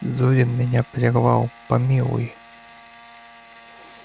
зурин меня прервал помилуй